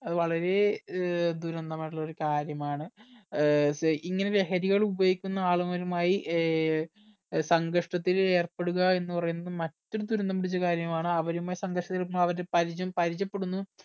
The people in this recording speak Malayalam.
അത് വളരെ ഏർ ദുരന്തമായിട്ടുള്ള ഒരു കാര്യമാണ് ഏർ സ് ഇങ്ങനെ ലഹരി ഉപയോഗിക്കുന്ന ആളുകളുമായി ഏർ സങ്കർഷത്തിൽ ഏർപ്പെടുക എന്ന് പറയുന്നത് മറ്റൊരു ദുരന്തം പിടിച്ച കാര്യമാണ് അവരുമായി സംഘർഷത്തിലിക്കുമ്പോ അവരുടെ പരിചം പരിചപ്പെടുന്നു